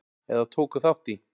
eða tóku þátt í.